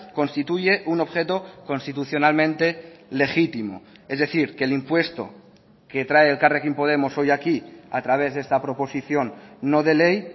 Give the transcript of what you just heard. constituye un objeto constitucionalmente legítimo es decir que el impuesto que trae elkarrekin podemos hoy aquí a través de esta proposición no de ley